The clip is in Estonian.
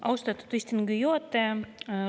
Austatud istungi juhataja!